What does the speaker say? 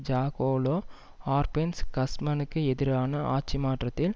ஜாகோலோ Arbenz கஸ்மனுக்கு எதிரான ஆட்சிமாற்றத்தில்